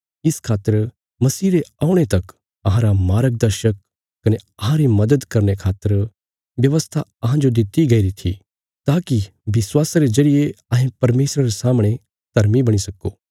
इस खातर मसीह रे औणे तक अहांरा मार्गदर्शक कने अहांरी मदद करने खातर व्यवस्था अहांजो दित्ति गईरी थी ताकि विश्वासा रे जरिये अहें परमेशरा रे सामणे धर्मी बणी सक्को